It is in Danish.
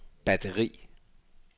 batteri